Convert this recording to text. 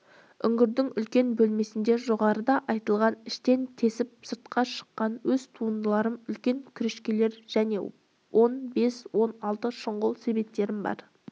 үңгірдің үлкен бөлмесінде жоғарыда айтылған іштен тесіп сыртқа шыққан өз туындыларым үлкен күрешкелерім және он бес-он алты шұңғыл себеттерім бар